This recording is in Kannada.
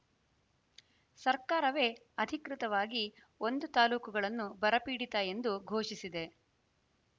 ಸರ್ಕಾರವೇ ಅಧಿಕೃತವಾಗಿ ಒಂದು ತಾಲೂಕೂಗಳನ್ನು ಬರಪೀಡಿತ ಎಂದು ಘೋಷಿಸಿದೆ